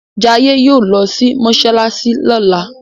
Jaiye yóò ló sì masalasi lola.